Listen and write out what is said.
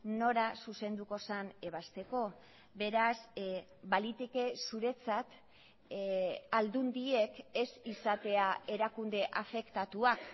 nora zuzenduko zen ebazteko beraz baliteke zuretzat aldundiek ez izatea erakunde afektatuak